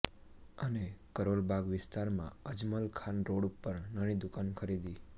અને કરોલ બાગ વિસ્તારમાં અજમલખાન રોડ ઉપર નાની દુકાન ખરીદી